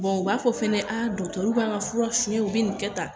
u b'a fɔ fɛnɛ a b'an ka fura suɲɛ u bi nin kɛ tan .